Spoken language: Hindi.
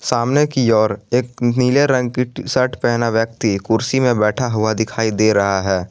सामने की ओर एक नीले रंग की टी शर्ट पहना व्यक्ति कुर्सी में बैठा हुआ दिखाई दे रहा है।